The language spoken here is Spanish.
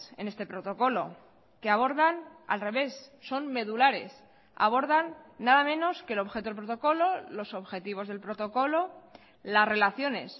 en este protocolo que abordan al revés son medulares abordan nada menos que el objeto del protocolo los objetivos del protocolo las relaciones